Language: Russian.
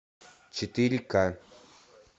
четыре ка